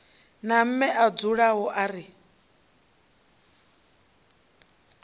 na mme a dzulani ri